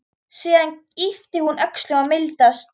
Síðan ypptir hún öxlum og mildast.